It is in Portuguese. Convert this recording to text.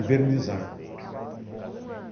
Envernizar.